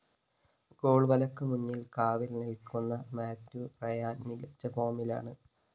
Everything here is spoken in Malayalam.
ഗോള്‍വലക്ക്‌ മുന്നില്‍ കാവല്‍ നില്‍ക്കുന്ന മാത്യു റയാന്‍ മികച്ച ഫോമിലാണ്‌